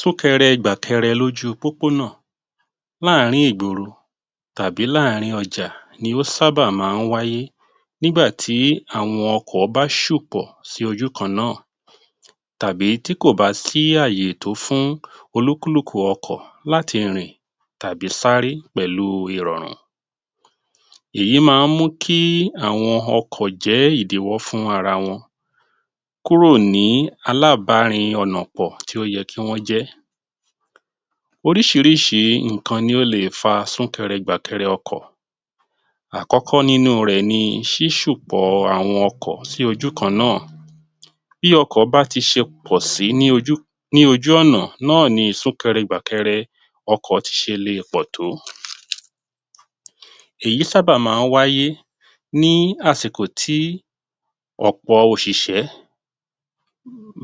Súnkẹrẹ gbàkẹrẹ lójú pópó náà láàárín ìgboro tàbí láàárín ọjà ni ó sábà máa ń wáyé nígbà tí àwọn ọkọ̀ bá ṣùpọ̀ sí ojú kan náà, tàbí tí kò bá sí àyè tó fún olúkúlùkù ọkọ̀ láti rìn tàbí sáré pẹ̀lú ìrọ̀rùn. Èyí máa ń mú kí àwọn ọkọ̀ jẹ́ ìdíwọ́ fún ara wọn kúrò ní alábarìn ọ̀nà pọ̀ tí ó yẹ kí wọ́n jẹ́. Oríṣiríṣi nǹkan ni ó lè fa súnkẹrẹ gbàkẹrẹ ọkọ̀. Àkọ́kọ́ nínú rẹ̀ ni ṣíṣùpọ̀ àwọn ọkọ̀ sí ojú kan náà. Bí ọkọ bá ti ṣe pò sí ní ojú ní ojú ọ̀nà náà ni súnkẹrẹ gbàkẹrẹ ọkọ̀ tì ṣe le pọ̀ tó. Èyí sábà máa ń wáyé ní àsìkò tí ọ̀pọ̀ òṣìṣẹ́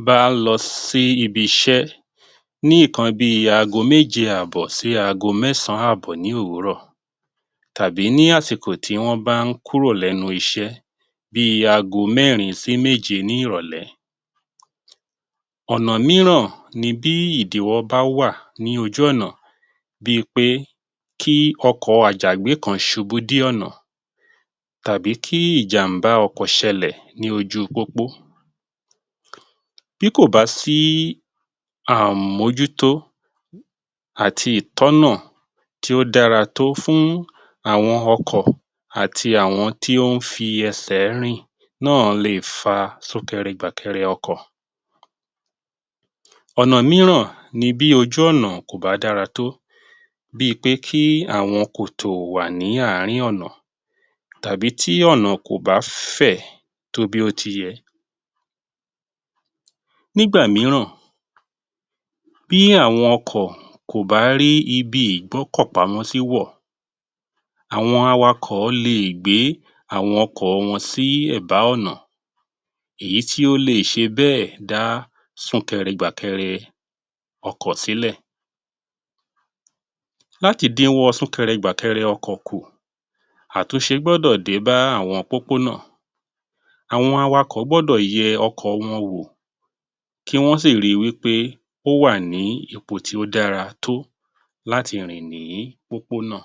bá ń lọ sí ibi iṣẹ́ ní nǹkan bí i ago méje àbọ̀ sí ago mẹ́sàn-án àbọ̀ ní òwúrọ̀, tàbí ní àsìkò tí wọ́n bá ń kúrò lẹ́nu iṣẹ́ bí i ago mẹ́rin sí méje ní ìrọ̀lẹ́. Ọ̀nà míràn ni bí ìdíwọ́ bá wà ní ojú ọ̀nà bí i pé kí ọkọ̀ Àjàgbé kan ṣubú di ọ̀nà, tàbí kí ìjàmbá ọkọ̀ ṣẹlẹ̀ ní ojú pópó. Bí kò bá sí àmójútó àti ìtọ́nà tí ó dára tó fún àwọn ọkọ̀ àti àwọn tí ó ń fi ẹsẹ̀ rìn náà lè fa súnkẹrẹ gbàkẹrẹ ọkọ̀. Ọ̀nà míràn ni bí ojú ọ̀nà kò bá dára tó, bí i pé kí àwọn kòtò wà ní àárín ọ̀nà tàbí tí ọ̀nà kò bá fẹ̀ tó bí ó ti yẹ. Nígbà míràn, bí àwọn ọkọ̀ kò bá rí ibi ìgbọ́kọ̀ pamọ́ sí wọ̀, àwọn awakọ̀ lè gbé àwọn ọkọ̀ wọn sí ẹ̀bá ọ̀nà, èyí tí ó lè ṣe bẹ́ẹ̀ dá súnkẹrẹ gbàkẹrẹ ọkọ̀ sílẹ̀. Láti dínwọ́ súnkẹrẹ gbàkẹrẹ ọkọ̀ kù, àtúnṣe gbọ́dọ̀ dé bá àwọn pópó náà, àwọn awakọ̀ gbọ́dọ̀ yẹ ọkọ̀ wọn wò kí wọ́n sì ri wí pé ó wà ní ipò tí ó dára tó láti rìn ní pópó náà.